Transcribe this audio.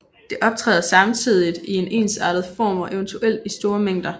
Det optræder samtidigt i en ensartet form og eventuelt i store mængder